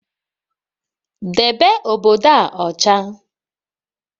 Debe obodo a ọcha!